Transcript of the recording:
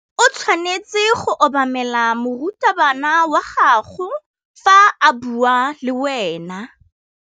O tshwanetse go obamela morutabana wa gago fa a bua le wena.